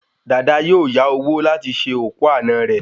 Dayọ̀ yóò yá owó láti ṣe òkú àná rẹ̀